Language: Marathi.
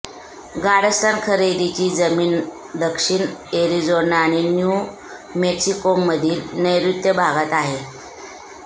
गाड्सस्डन खरेदीची जमीन दक्षिण एरिज़ोना आणि न्यू मेक्सिकोमधील नैऋत्य भागात आहे